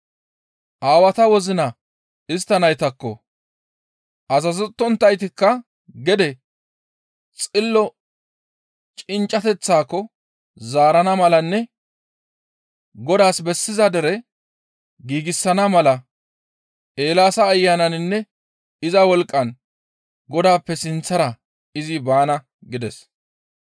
Aawata wozina istta naytakko, azazettonttaytakka gede Xillota cinccateththaako zaarana malanne Godaas bessiza dere giigsana mala Eelaasa Ayananinne iza wolqqan Godaappe sinththara izi baana» gides.